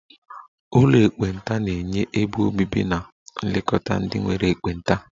Ụlọ ekpenta na-enye ebe obibi na nlekọta ndị nwere ekpenta